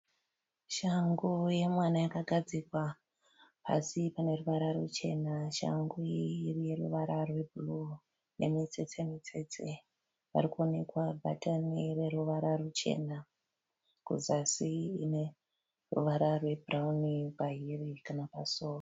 Shangu yemwana yakagadzikwa pasi paneruvara ruchena. Shangu iyi ineruvara rwebhuruwu nemutsetse mutsetse . Parikuonekwa bhatani rineruvara ruchena. Kuzasi ineruvara rwebhurawuni pahiri kana pasoo.